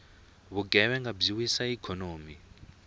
vugevhenga byi wisa ikhonomi